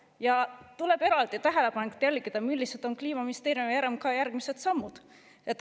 Ja tuleb eraldi tähelepanelikult jälgida, millised on Kliimaministeeriumi ja RMK järgmised sammud.